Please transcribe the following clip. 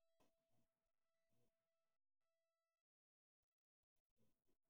Waa maxay calaamadaha iyo astaamaha Van Den Bosch syndrome?